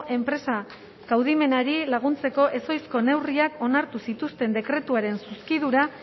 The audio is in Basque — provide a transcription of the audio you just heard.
enpresa kaudimenari laguntzeko ezohiko neurriak onartu zituen dekretuaren zuzkidura